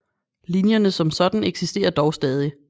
Linjerne som sådan eksisterer dog stadig